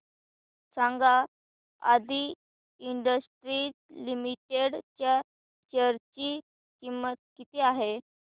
सांगा Aadi Industries Limited च्या share ची किंमत किती आहे